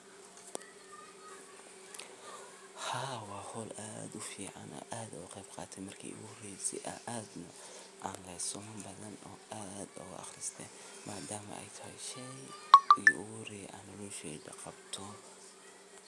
Tababarradan waxaa laga heli karaa khubaro deegaanka ah ama hay’adaha ka shaqeeya arrimaha beeraleynta.